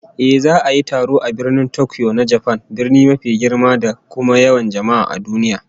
Ehh, za'a yi taron a Birnin Tokyo na Japan, birni mafi girma da kuma yawan jama'a a duniya